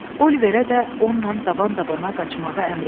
Oliverə də onunla daban-dabana qaçmağı əmr etdi.